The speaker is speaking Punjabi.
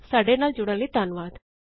ਸਾਡੇ ਨਾਲ ਜੁਡ਼ਨ ਲਈ ਧੰਨਵਾਦ